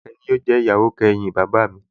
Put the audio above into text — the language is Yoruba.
Àṣàkẹ́ ni yóò jẹ́ ìyàwó kẹyìn bàbá mi